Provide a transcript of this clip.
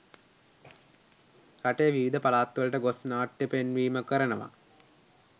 රටේ විවිධ පළාත්වලට ගොස් නාට්‍ය පෙන්වීම කරනවා.